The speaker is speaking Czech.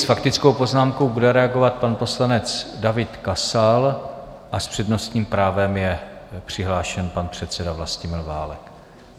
S faktickou poznámkou bude reagovat pan poslanec David Kasal a s přednostním právem je přihlášen pan předseda Vlastimil Válek.